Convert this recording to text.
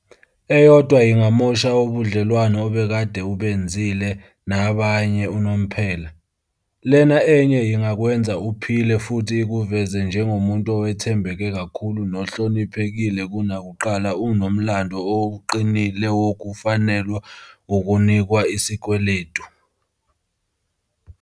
Eyodwa ingamosha budlelwano obekade ubenzile nabanye unomphela. Lena enye ingakwenza uphile futhi ikuveze njengomuntu owethembeke kakhulu nohloniphekile kunakuqala unomlando oqinile wokufanelwa ukunikwa isikweletu.